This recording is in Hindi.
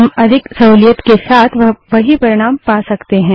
और हम अधिक सहूलियत के साथ वही परिणाम पा सकते हैं